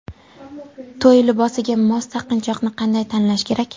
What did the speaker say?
To‘y libosiga mos taqinchoqni qanday tanlash kerak?.